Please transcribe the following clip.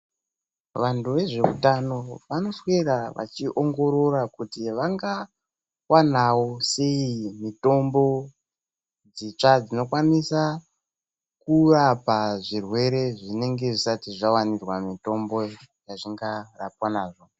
Vantu vezveutano vanoswera vechiongorora kuti vangawanawo sei mitombo dzitsva dzinokwanisa kurapa zvirwere zvinenge zvisati zvawanirwa mitombo yazvingarwapwa nazvo.